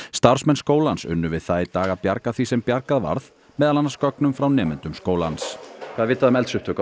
starfsmenn skólans unnu við það í dag að bjarga því sem bjargað varð meðal annars gögnum frá nemendum skólans hvað er vitað um eldsupptök